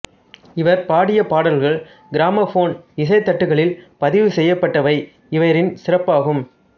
இவர் பாடிய பாடல்கள் கிராமப்போன் இசைத்தட்டுகளில் பதிவு செய்யப்பட்டவை இவரின் சிறப்பாகும்